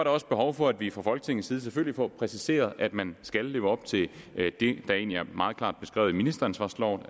også behov for at vi fra folketingets side selvfølgelig får præciseret at man skal leve op til det der egentlig er meget klart beskrevet i ministeransvarsloven